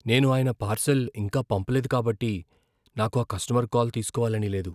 నేను ఆయన పార్సల్ ఇంకా పంపలేదు కాబట్టి నాకు ఆ కస్టమర్ కాల్ తీస్కోవాలని లేదు.